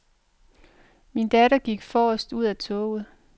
Min datter gik forrest ud af toget.